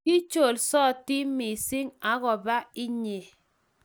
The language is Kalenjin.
Kicholsoti missing agoba inye